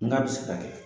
N ka bɛ se ka kɛ